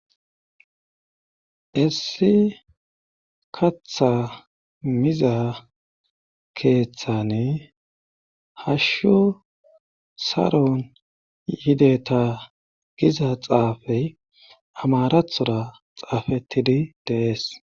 Issi katha miza keeththane hashsho saron yideta giza xaafey amarathora xaafettidi deees.